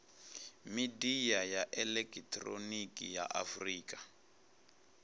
midia ya elekihironiki ya afurika